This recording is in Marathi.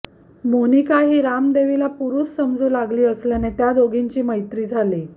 मोनिका ही रामदेवीला पुरूष समजू लागली असल्याने त्या दोघींची मैत्री झाली